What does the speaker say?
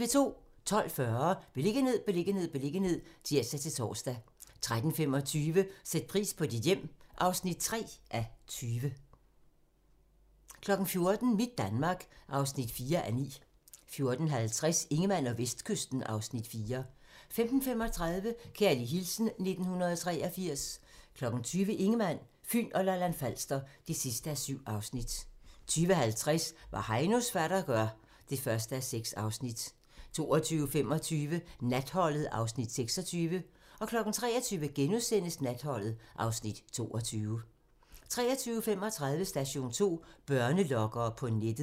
12:40: Beliggenhed, beliggenhed, beliggenhed (tir-tor) 13:25: Sæt pris på dit hjem (3:20) 14:00: Mit Danmark (4:9) 14:50: Ingemann og Vestkysten (Afs. 4) 15:35: Kærlig hilsen 1983 20:00: Ingemann, Fyn og Lolland-Falster (7:7) 20:50: Hvad Heinos fatter gør (1:6) 22:25: Natholdet (Afs. 26) 23:00: Natholdet (Afs. 22)* 23:35: Station 2: Børnelokkere på nettet